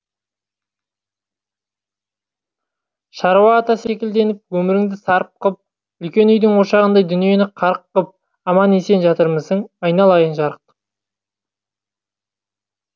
шаруа ата секілденіп өміріңді сарып қып үлкен үйдің ошағындай дүниені қарық қып аман есен жатырмысың айналайын жарықтық